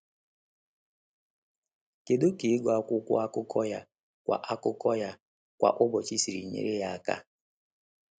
Kedu ka ịgụ akwụkwọ akụkọ ya kwa akụkọ ya kwa ụbọchị siri nyere ya aka?